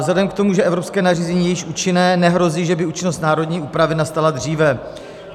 Vzhledem k tomu, že evropské nařízení je již účinné, nehrozí, že by účinnost národní úpravy nastala dříve.